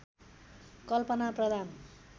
कल्पना प्रधान